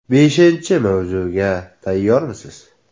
“Beshinchi mavsumga tayyormisiz?